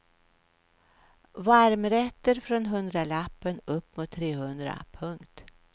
Varmrätter från hundralappen upp mot trehundra. punkt